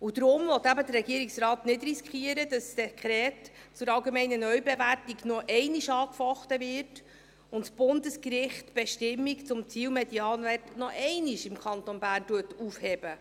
Daher will eben der Regierungsrat nicht riskieren, dass das Dekret über die allgemeine Neubewertung der nichtlandwirtschaftlichen Grundstücke und Wasserkräfte (AND) noch einmal angefochten wird und das Bundesgericht die Bestimmung zum Zielmedianwert im Kanton Bern noch einmal aufhebt.